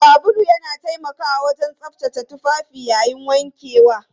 Sabulu yana taimakawa wajen tsaftace tufafi yayin wankewa.